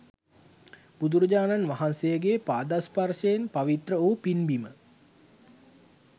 බුදුරජාණන් වහන්සේගේ පාදස්පර්ශයෙන් පවිත්‍ර වූ පින්බිම